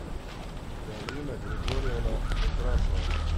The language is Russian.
галина григорьевна некрасова